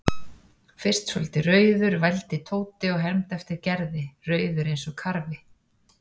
Fyrst svolítið rauður vældi Tóti og hermdi eftir Gerði, rauður eins og karfi.